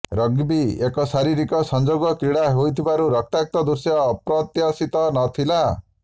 rugby ଏକ ଶାରୀରିକ ସଂଯୋଗ କ୍ରୀଡ଼ା ହୋଇଥିବାରୁ ରକ୍ତାକ୍ତ ଦୃଶ୍ୟ ଅପ୍ରତ୍ୟାଶିତ ନ ଥିଲା